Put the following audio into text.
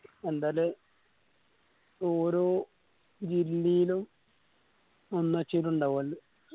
എന്താല് ഓരോ ജില്ലേലും